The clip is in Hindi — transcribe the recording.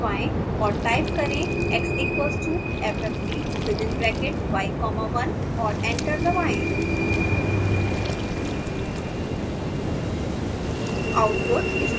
और एंटर दबाएँ और टाइप करें x ffty1 x equals to fft within bracket y comma 1 और एंटर दबाएँ